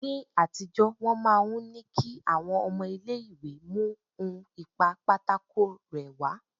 Ni àtijọ́ wọ́n máa ń ní kí àwọn ọmọ ilé ìwé mú ohun ìpa pátákó rẹ́ wá.